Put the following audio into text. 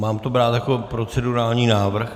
Mám to brát jako procedurální návrh?